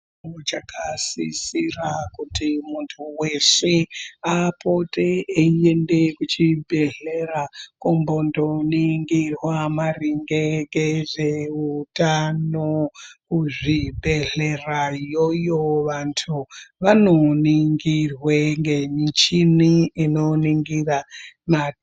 Zvichakasisira kuti muntu weshe apote eyienda kuchibhedhlera, kumbondoningirwa maringe ngezveutano, kuzvibhedhlera iyoyo, vantu vanoningirwe ngemichini inoningira matenda.